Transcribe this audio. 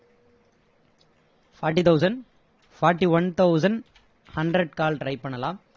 forty thousand forty-one thousand hundred call try பண்ணலாம்